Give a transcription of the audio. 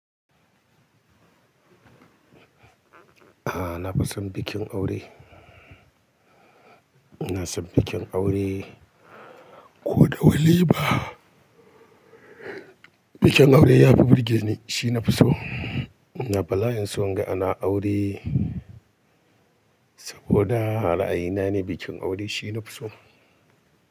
A'a nafi son bikin aure. iNa san bikin aure ko da walima. Bikin aure yafi burge ni shi nafi so. iNa bala'in son in ga ana aure saboda ra'ayina ne bikin aure shi nafi so.